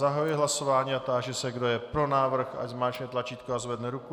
Zahajuji hlasování a táži se, kdo je pro návrh, ať zmáčkne tlačítko a zvedne ruku.